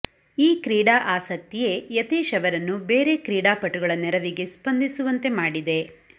ಈ ಕ್ರೀಡಾ ಆಸಕ್ತಿಯೇ ಯತೀಶ್ ಅವರನ್ನು ಬೇರೆ ಕ್ರೀಡಾಪಟುಗಳ ನೆರವಿಗೆ ಸ್ಪಂದಿಸುವಂತೆ ಮಾಡಿದೆ